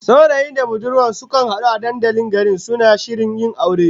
Saurayin da budurwar da suka hadu a dandalin garin, suna shirin yin aure